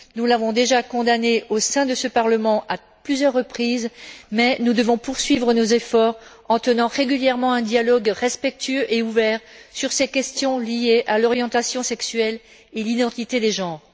nous l'avons déjà condamnée au sein de ce Parlement à plusieurs reprises, mais nous devons poursuivre nos efforts en tenant régulièrement un dialogue respectueux et ouvert sur ces questions liées à l'orientation sexuelle et à l'identité des genres.